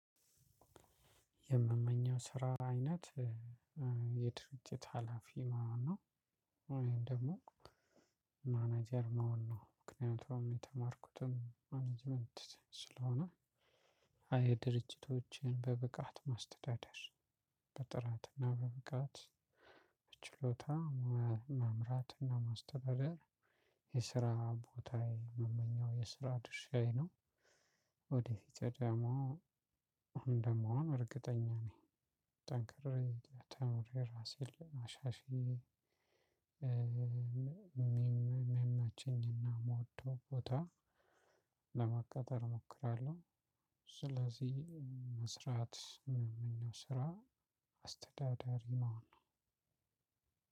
የምመኘው የስራ አይነት የድርጅት ሀላፊ መሆን ነው። ወይም ደግሞ ማናጀር መሆን ነው። ምክንያቱም የተማርኩትም ማናጅመንት ስለሆነ የድርጅቶችን በብቃት ማስተዳደር በጥራትና በብቃት በችሎታ መምራትና ማስተዳደር የስራ ቦታዬ ምመኘው የስራ ድርሻዬ ነው። ወደ ፊት ደግሞ እንደምሆን እርግጠኛ ነኝ። ጠንክሬ ተምሬ ራሴን ለማሻሻል ምመቼኝንና ምወደው ቦታ ለመቀጠር እሞክራለሁ። ስለዚህ መስራት የምመኘው ስራ አስተዳዳሪ መሆን ነው።